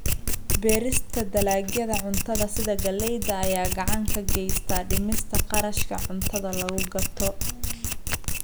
Beerista dalagyada cuntada sida galleyda ayaa gacan ka geysta dhimista kharashka cuntada lagu gato.